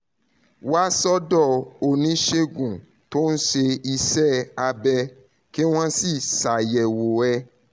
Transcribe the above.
wá sọ́dọ̀ oníṣègùn tó ń ṣe iṣẹ́ abẹ́ kí wọ́n sì ṣàyẹ̀wò ẹ̀